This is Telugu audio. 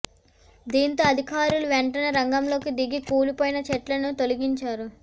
దీంతో అధికారులు వెంటనే రంగంలోకి దిగి కూలి పోయిన చెట్లను తొలగించారు